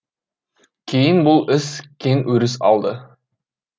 кейін бұл іс кең өріс алды